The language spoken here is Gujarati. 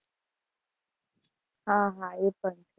હા હા, એ પણ છે